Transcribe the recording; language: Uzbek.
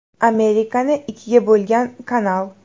Amerikani ikkiga bo‘lgan kanal.